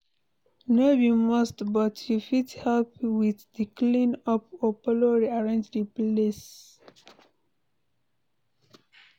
No be must but you fit help with di clean up or follow rearrange the place